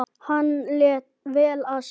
Hann lét vel af sér.